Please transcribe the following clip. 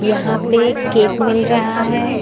यहां पे केक मिल रहा है।